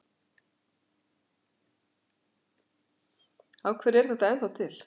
Af hverju er þetta ennþá til?